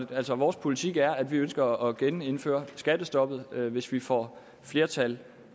på altså at vores politik er at vi ønsker at genindføre skattestoppet hvis vi får flertal